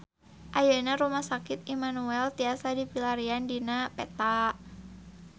Ayeuna Rumah Sakit Immanuel tiasa dipilarian dina peta